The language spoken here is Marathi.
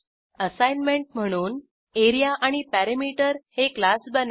असाईनमेंट म्हणून एआरईए आणि पेरीमीटर हे क्लास बनवा